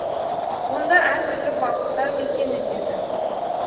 онда әртүрлі балықтар мекен етеді